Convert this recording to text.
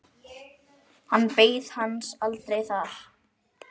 Hann beið hans aldrei þar.